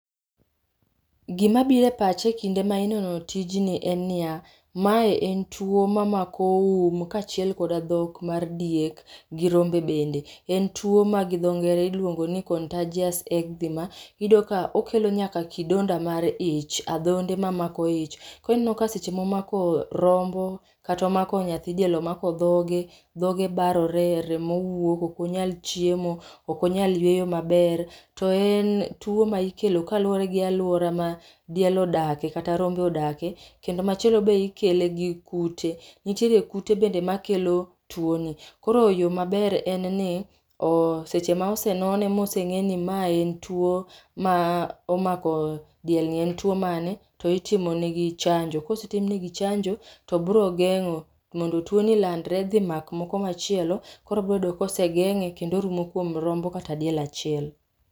Gima biro e pacha e kinde ma inono tijni en niya, mae en tuo mamako um kachiel kod dhok mar diek gi rombe bende, en tuo ma gi dho ngere iluongo ni contagious eczema, iyudo ka okelo nyaka kidonda mar ich, adhonde mamako ich. Koro iyudo ka seche ma omako rombo kata omako nyathi diel omako dhoge, dhoge barore ,remo wuok okonyal chiemo, ok onyal yweyo maber, to en tuo mikelo kaluore gi aluora ma diel odak ekata rombo odake. Kendo machielo be ikele gi kute, nitiere kute be makelo tuo ni. Koro yoo maber en ni seche ma osenone mosenge ni mae en tuo ma omako diel ni ,en to mane, to itimo negi chanjo, kosetim negi chanjo to biro gengo mondo tuo ni landre dhi mak moko machielo koro biro yudo ka osegenge kendo orumo kuom rombo kata diel achiel